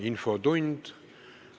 Infotund.